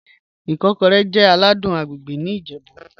Ikọ́rẹ̀ jẹ́ àlàdùn àgbègbè̀ ní Ìjẹ̀bú.